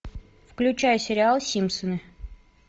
включай сериал симпсоны